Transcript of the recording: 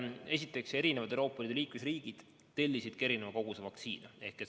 Esiteks, Euroopa Liidu eri liikmesriigid tellisid erineva koguse vaktsiine.